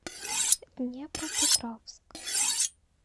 днепропетровск